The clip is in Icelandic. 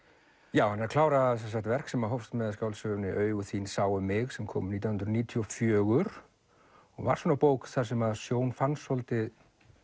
já hann er að klára verk sem hófst með skáldsögunni augu þín sáu mig sem kom nítján hundruð níutíu og fjögur og var svona bók þar sem Sjón fann svolítið